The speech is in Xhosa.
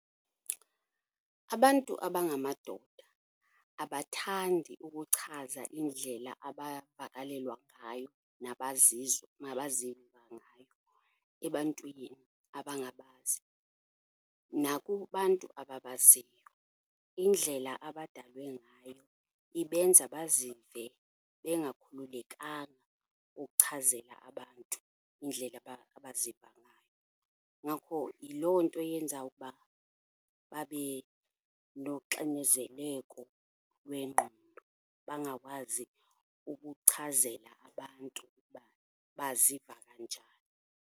Abantu abangamadoda abathandi ukuchaza indlela abavakalelwa ngayo nabaziva ngayo ebantwini abangabazi nakubantu ababaziyo. Indlela abadalwe ngayo ibenza bazive bengakhululekanga ukuchazela abantu indlela abaziva ngayo, ngakho yiloo nto eyenza ukuba babe noxinizeleko lwengqondo, bangakwazi ukuchazela abantu ukuba baziva kanjani.